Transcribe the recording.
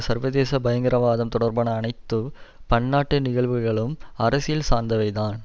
சர்வதேச பயங்கரவாதம் தொடர்பான அனைத்து பன்னாட்டு நிகழ்வுகளும் அரசியல் சார்ந்தவைதான்